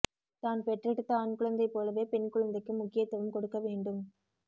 தான் பெற்றெடுத்த ஆண் குழந்தை போலவே பெண் குழந்தைக்கும் முக்கியத்துவம் கொடுக்க வேண்டும்